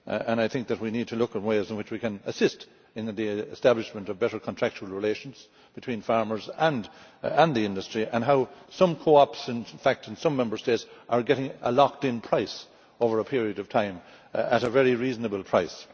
I think that we need to look at ways in which we can assist in the establishment of better contractual relations between farmers and the industry and how some coops in fact in some Member States are establishing a lock in price over a period of time at a very reasonable price.